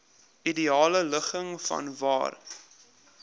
ideale ligging vanwaar